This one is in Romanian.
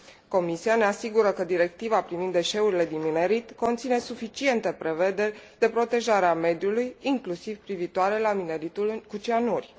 Comisia ne asigură că Directiva privind deșeurile din minerit conține suficiente prevederi de protejare a mediului, inclusiv privitoare la mineritul cu cianuri.